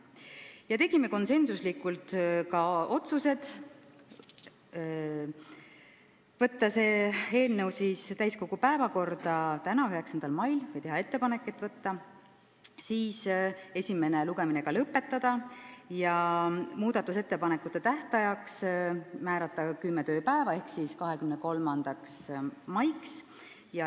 Oma otsused tegime konsensusega: teha ettepanek võtta see eelnõu täiskogu päevakorda tänaseks, 9. maiks, esimene lugemine lõpetada ja muudatusettepanekute tähtajaks määrata kümme tööpäeva ehk siis 23. mai.